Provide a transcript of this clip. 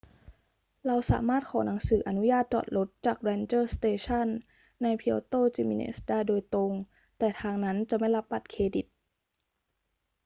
เราสามารถขอหนังสืออนุญาตจอดรถจาก ranger station ใน puerto jiménez ได้โดยตรง แต่ทางนั้นจะไม่รับบัตรเครดิต